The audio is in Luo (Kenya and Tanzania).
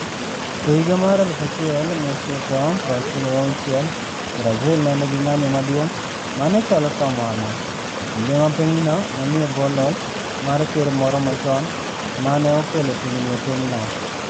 E higa mar 1996, Brazil ne nigi ng'anyo maduong ' ma ne chalo kamano, e kinde ma pinyno ne nie bwo loch mar Ker moro machon ma ne okelo tungni e pinyno.